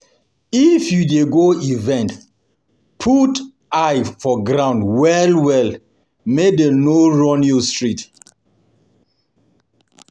If you dey go event, put eye for ground well well make dem no run you street